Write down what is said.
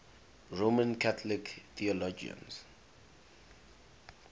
roman catholic theologians